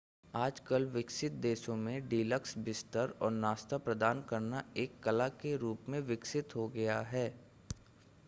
आजकल विकसित देशों में डीलक्स बिस्तर और नाश्ता प्रदान करना एक कला के रूप में विकसित हो गया है